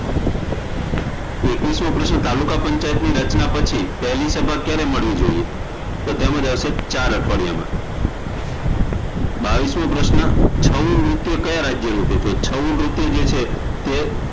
એકવીસમો પ્રશ્ન તાલુકા પંચાયતની રચના પછી પહેલી સભા ક્યારે મળવી જોઈએ તો તેમાં આવશે ચાર અઠવાડિયામાં બાવીસમો પ્રશ્ન છઉ નૃત્ય કયા રાજય નું છે છઉ નૃત્ય જે છે